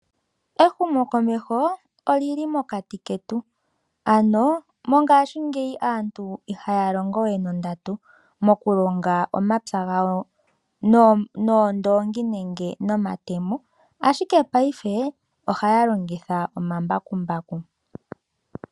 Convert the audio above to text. Ehumo komeho olili mokati ketu ano mongashingeyi aantu ihaa longo wee nondatu moku longa omapya gawo noondoongi nenge nomatemo ashike paife ohaya longitha omambakumbaku.